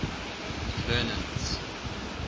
mcclernand's